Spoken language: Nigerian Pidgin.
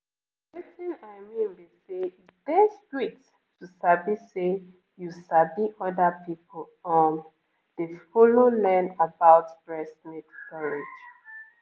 wetin i mean be say e dey sweet to sabi say you sabi other people um dey follow learn about breast milk storage